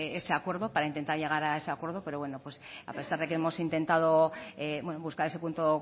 ese acuerdo para intentar llegar a ese acuerdo pero a pesar de que hemos intentado buscar ese punto